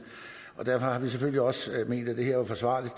og derfor har vi selvfølgelig også ment at det her var forsvarligt